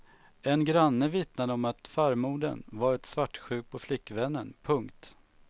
En granne vittnade om att farmodern varit svartsjuk på flickvännen. punkt